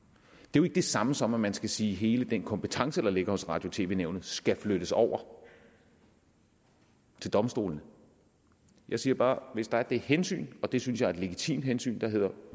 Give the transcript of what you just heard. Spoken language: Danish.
jo ikke det samme som at man skal sige at hele den kompetence der ligger hos radio og tv nævnet skal flyttes over til domstolene jeg siger bare at hvis der er det hensyn og det synes jeg er et legitimt hensyn der hedder at